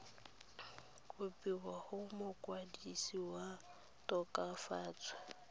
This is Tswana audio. kopiwa go mokwadise wa tokafatso